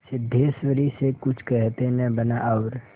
सिद्धेश्वरी से कुछ कहते न बना और